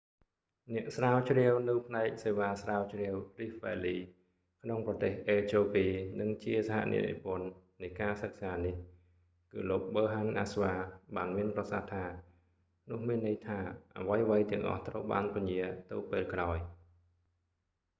អ្នកស្រាវជ្រាវនៅផ្នែកសេវាស្រាវជ្រាវ rift valley ក្នុងប្រទេសអេត្យូពី និងជាសហអ្នកនិពន្ធនៃការសិក្សានេះ គឺលោក ប៊ើហាន់ អាស្វា berhane asfaw បានមានប្រសាសន៍ថា នោះមានន័យថាអ្វីៗទាំងអស់ត្រូវបានពន្យាទៅពេលក្រោយ